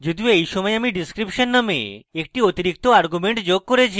যদিও এই সময় আমি description নামে একটি অতিরিক্ত argument যোগ করেছি